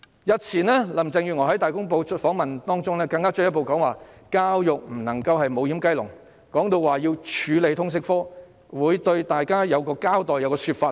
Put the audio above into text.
日前林鄭月娥在接受《大公報》的訪問中，更進一步指教育不能成為"無掩雞籠"，並提到要處理通識科，會向大家作一個交代，會有一個說法等。